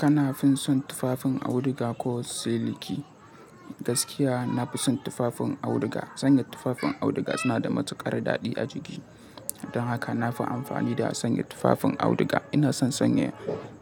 Kana fin son tufafin auduga ko siliki? Gaskiya na fi son tufafin auduga. Sanye tufafin auduga suna da matuƙar daɗi a jiki. Don haka na fi amfani da sanya tufafin auduga. Ina son sanya